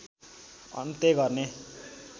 अन्त्य गर्ने